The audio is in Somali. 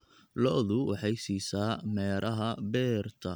Lo'du waxay siisaa meeraha beerta.